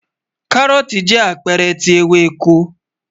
Káróòtì jẹ́ apẹ́ẹ̀rẹ̀ tí ewéko